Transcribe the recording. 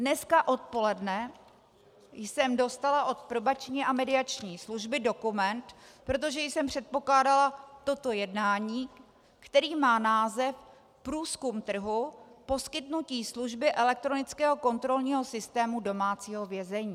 Dneska odpoledne jsem dostala od Probační a mediační služby dokument, protože jsem předpokládala toto jednání, který má název Průzkum trhu, poskytnutí služby elektronického kontrolního systému domácího vězení.